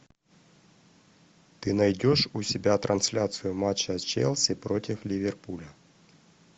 ты найдешь у себя трансляцию матча челси против ливерпуля